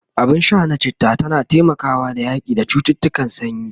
abun Sha na chitta tana taimakawa da yaƙi da cuttutukan sanyi